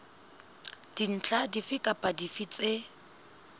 dintlha dife kapa dife tse